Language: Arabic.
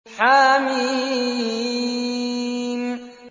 حم